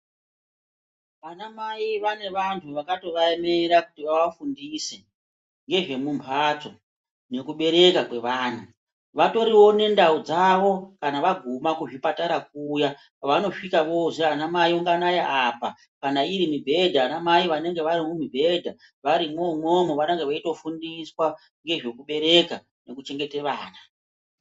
Vana mai vane vantu vakatova emera kutu vava fundise ngezvemumbatso nekuberekwa kwevana. Vatoriwo nendau dzavo kana vaguma kuzvipatara kuya kwavanosvika vozi ana mai unganai apa, kana iri mibhedha, vana mai vanonga vari kumibhedha. Varimwo umwomwo vanonga veitofundiswa kubereka nekuchengete vana.